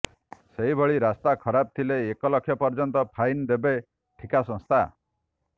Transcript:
ସେହିଭଳି ରାସ୍ତା ଖରାପ ଥିଲେ ଏକ ଲକ୍ଷ ପର୍ଯ୍ୟନ୍ତ ଫାଇନ ଦେବେ ଠିକା ସଂସ୍ଥା